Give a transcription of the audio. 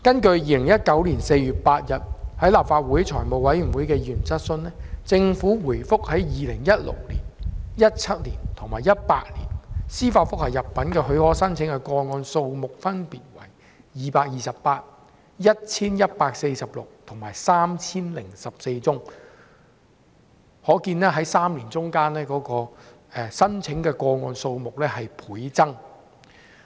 就2019年4月8日在立法會財務委員會的議員質詢，政府回覆，在2016年、2017年及2018年，司法覆核入稟的許可申請個案數目分別為228、1,146 及 3,014 宗，可見3年間的申請個案數目倍增。